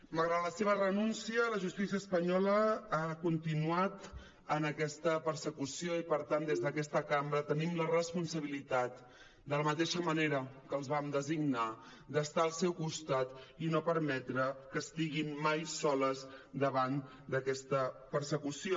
malgrat la seva renúncia la justícia espanyola ha continuat en aquesta persecució i per tant des d’aquesta cambra tenim la responsabilitat de la mateixa manera que els vam designar d’estar al seu costat i no permetre que estiguin mai soles davant d’aquesta persecució